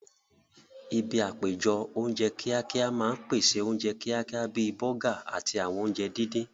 Ibi àpéjọ oúnjẹ kíákíá máa ń pèsè oúnjẹ kíákíá bíi bọ́gà àti àwọn oúnjẹ díndín